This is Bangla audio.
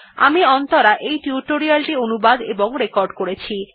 আমি অন্তরা এই টিউটোরিয়াল টি অনুবাদ এবং রেকর্ড করেছি